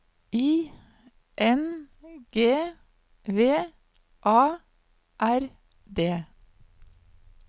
I N G V A R D